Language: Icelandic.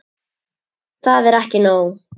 Það er ekki nóg.